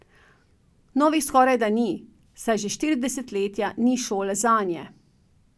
Novih skorajda ni, saj že štiri desetletja ni šole zanje.